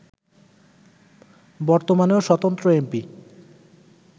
বর্তমানেও স্বতন্ত্র এমপি